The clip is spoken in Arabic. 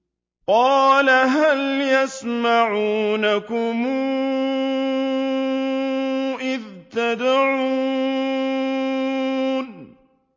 قَالَ هَلْ يَسْمَعُونَكُمْ إِذْ تَدْعُونَ